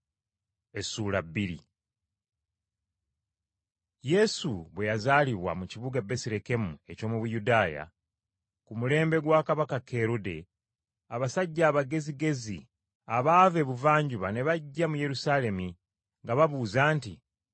Yesu bwe yazaalibwa mu kibuga Besirekemu eky’omu Buyudaaya, ku mulembe gwa Kabaka Kerode, abasajja abagezigezi, abaava ebuvanjuba ne bajja mu Yerusaalemi, nga babuuza nti,